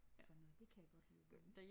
Sådan noget det kan jeg godt lide at gøre